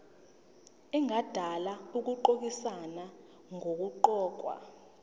engadala ukushayisana nokuqokwa